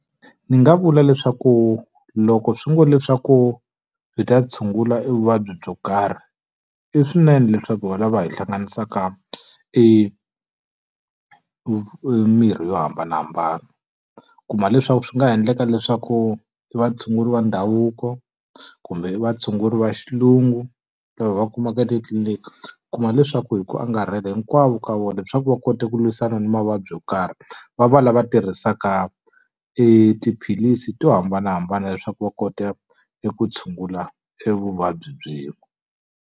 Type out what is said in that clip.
Ndzi nga vula leswaku loko swi ngo leswaku byi ta tshungula e vuvabyi byo karhi, i swinene leswaku va lava hi hlanganisaka e mirhi yo hambanahambana. U ku kuma leswaku swi nga endleka leswaku i vatshunguri va ndhavuko, kumbe i vatshunguri va xilungu lava hi va kumaka titliliniki, u kuma leswaku hi ku angarhela hinkwavo ka vona leswaku va kota ku lwisana ni mavabyi yo karhi, va va lava tirhisaka e tiphilisi to hambanahambana leswaku va kota eku tshungula e vuvabyi .